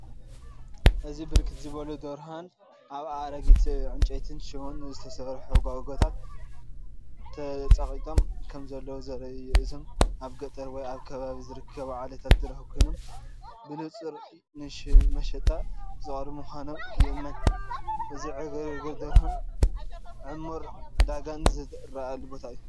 እዚ ብርክት ዝበሉ ደርሆን ኣብ ኣረጊት ዕንጨይትን ሽቦን ዝተሰርሑ ጓጓታት ተጸቒጦም ከምዘለዉ ዘርኢ እዩ። እዚኦም ኣብ ገጠር ወይ ኣብ ከባቢ ዝርከቡ ዓሌታት ደርሆ ኮይኖም ብንጹር ንመሸጣ ዝቐረቡ ምዃኖም ይእመን። እዚ ዕግርግር ደርሆን ዕሙር ዕዳጋን ዝረኣየሉ ቦታ እዩ።